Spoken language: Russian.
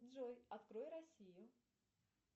джой открой россию